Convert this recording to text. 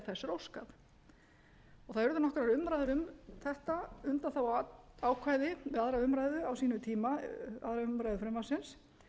óskað það urðu nokkrar umræður um þetta undanþáguákvæði við aðra umræðu frumvarpsins á sínum tíma og það var upplýst